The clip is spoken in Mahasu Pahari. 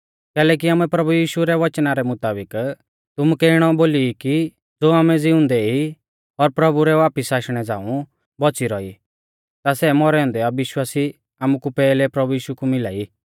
कैलैकि आमै प्रभु यीशु रै वचना रै मुताबिक तुमुकै इणौ बोली ई कि ज़ो आमै ज़िउंदै ई और प्रभु रै वापिस आशणै झ़ांऊ बौच़ी रौई ई ता सै मौरै औन्दै विश्वासी आमुकु पैहलै प्रभु यीशु कु मिला ई